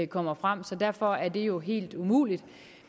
kommer frem så derfor er det jo helt umuligt